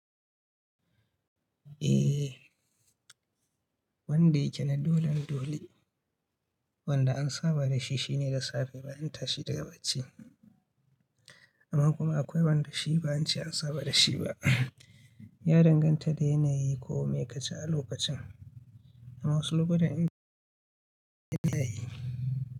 Eh, wanda yake na dolan dole, wanda an saba da shi shine da safe bayan tashi daga bacci. Amma kuma akwai wanda shi ba an ce an saba da shi ba, ya danganta da yanayi ko me ka ji a lokacin. Amma wasu lokutan inda ya yi.